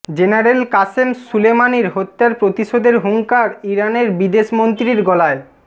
general Qasem সুলেমানির হত্যার প্রতিশোধের হুঙ্কার ইরানের বিদেশমন্ত্রীর গলায়